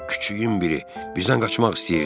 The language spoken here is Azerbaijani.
Küçüyün biri, bizdən qaçmaq istəyirdin?